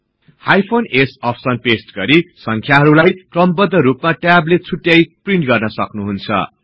hyphen s option paste गरि संख्याहरुलाई क्रमबद्ध रुपमा ट्याबले छुट्टाई प्रिन्ट गर्न सक्नुहुन्छ